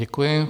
Děkuji.